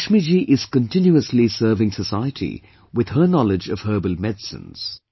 Lakshmi Ji is continuously serving society with her knowledge of herbal medicines